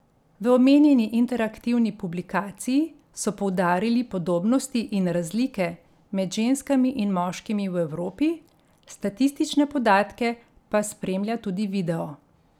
V omenjeni interaktivni publikaciji so poudarili podobnosti in razlike med ženskami in moškimi v Evropi, statistične podatke pa spremlja tudi video.